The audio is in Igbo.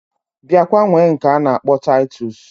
Biakwa nwee nke ana akpo titus